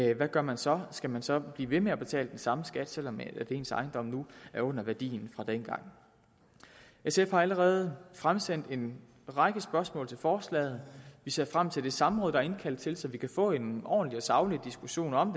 i hvad gør man så skal man så blive ved med at betale den samme skat selv om ens ejendom nu er under værdien fra dengang sf har allerede fremsendt en række spørgsmål til forslaget vi ser frem til det samråd der er indkaldt til så vi kan få en ordentlig og saglig diskussion om